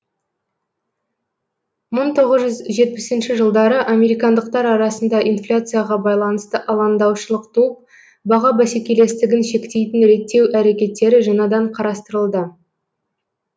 мың тоғыз жүз жетпісінші жылдары американдықтар арасында инфляцияға байланысты алаңдаушылық туып баға бәсекелестігін шектейтін реттеу әрекеттері жаңадан қарастырылды